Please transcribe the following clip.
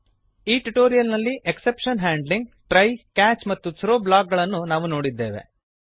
ಈ ಟ್ಯುಟೋರಿಯಲ್ ನಲ್ಲಿ exception handling try catch ಮತ್ತು ಥ್ರೋ ಬ್ಲಾಕ್ ಗಳನ್ನು ನಾವು ನೋಡಿದ್ದೇವೆ